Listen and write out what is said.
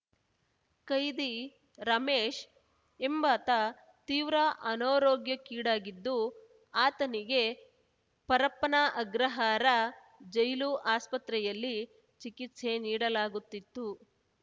ಕೈದಿ ರಮೇಶ್‌ ಎಂಬಾತ ತೀವ್ರ ಅನಾರೋಗ್ಯಕ್ಕೀಡಾಗಿದ್ದು ಆತನಿಗೆ ಪರಪ್ಪನ ಅಗ್ರಹಾರ ಜೈಲು ಆಸ್ಪತ್ರೆಯಲ್ಲಿ ಚಿಕಿತ್ಸೆ ನೀಡಲಾಗುತ್ತಿತ್ತು